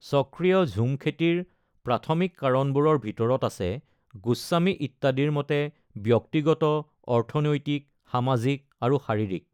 চক্ৰীয় ঝুম খেতিৰ প্ৰাথমিক কাৰণবোৰৰ ভিতৰত আছে, গোস্বামী ইত্যাদিৰ মতে, ব্যক্তিগত, অৰ্থনৈতিক, সামাজিক আৰু শাৰীৰিক।